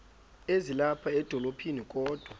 ezilapha edolophini kodwa